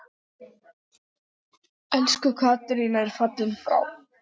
Elsku Katrín er fallin frá.